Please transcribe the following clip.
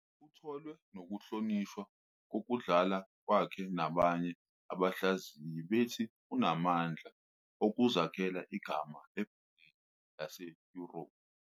Uthole nokuhlonishwa ngokudlala kwakhe nabanye abahlaziyi bethi unamandla okuzakhela igama ebholeni lase-Europe.